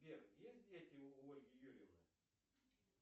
сбер есть дети у ольги юрьевны